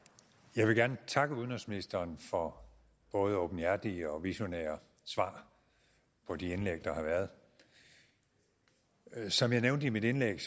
jeg vil gerne takke udenrigsministeren for både åbenhjertige og visionære svar på de indlæg der har været som jeg nævnte i mit indlæg